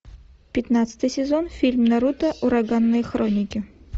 пятнадцатый сезон фильм наруто ураганные хроники